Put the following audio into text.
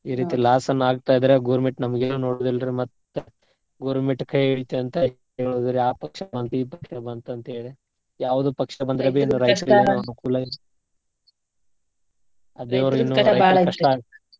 ಈ ರೀತಿ loss ಏನ್ನ ಆಗ್ತಾ ಇದ್ರೆ government ನಮ್ಗೆನ್ ನೋಡುದಿಲ್ಲ್ ರ್ರೀ ಮತ್ತ್ government ಕೈ ಹಿಡಿತದಂತ ಹೇಳಿದ್ರು ಆ ಪಕ್ಷ ಈ ಪಕ್ಷ ಬಂತು ಅಂತೇಳಿ .